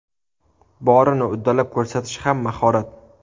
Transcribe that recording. Borini uddalab ko‘rsatish ham mahorat.